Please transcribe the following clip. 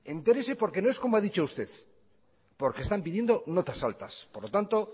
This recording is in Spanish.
entérese porque no es como ha dicho usted porque están pidiendo notas altas por lo tanto